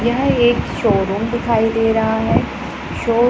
यह एक शोरूम दिखाई दे रहा है शो --